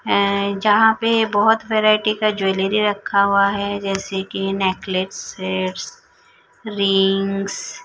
हैं यहां पे बहुत वैरायटी का ज्वेलरी रखा हुआ है जैसे कि नेकलेस सेट्स रिंग्स --